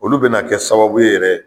Olu bɛna kɛ sababu yɛrɛ ye.